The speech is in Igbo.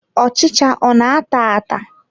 Ọchịcha ọ na-ata ata?